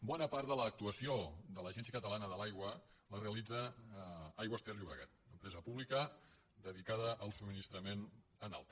bona part de l’actuació de l’agència catalana de l’aigua la realitza aigües ter llobregat una empresa pública dedicada al subministrament en alta